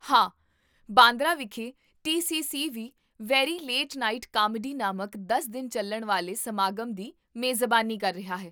ਹਾਂ, ਬਾਂਦਰਾ ਵਿਖੇ ਟੀ.ਸੀ.ਸੀ. ਵੀ 'ਵੇਰੀ ਲੇਟ ਨਾਈਟ ਕਾਮੇਡੀ' ਨਾਮਕ ਦਸ ਦਿਨ ਚੱਲਣ ਵਾਲੇ ਸਮਾਗਮ ਦੀ ਮੇਜ਼ਬਾਨੀ ਕਰ ਰਿਹਾ ਹੈ